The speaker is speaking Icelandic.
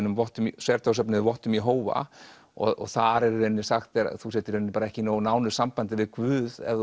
vottum sértrúarsöfnuði vottum Jehóva og þar er henni sagt að þú sért ekki í nógu nánu sambandi við Guð ef